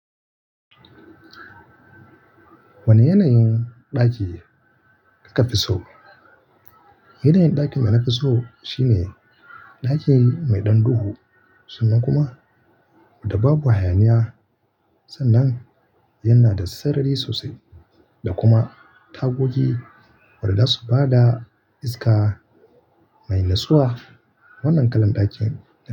Wane yanayin ɗaki kika fi so? Yanayin ɗakin da na fi so shine ɗaki mai ɗan duhu sannan kuma da babu hayaniya sannan yana da sarari sosai da kuma tagogi waɗanda su ba da iska mai natsuwa. Wannan kalan ɗakin na fi so.